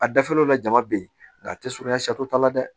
A dafalenw la jama bɛ yen nka a tɛ surunya t'a la dɛ